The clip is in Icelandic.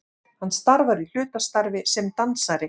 Hann starfar í hlutastarfi sem dansari